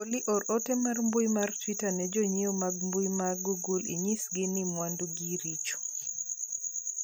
Olly or ote mar mbui mar twita ne jonyiewo mag mbui mar google inyisgi ni mwandu gi richo